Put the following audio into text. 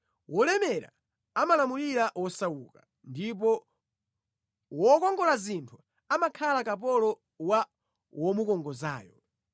Wolemera amalamulira wosauka, ndipo wokongola zinthu amakhala kapolo wa womukongozayo.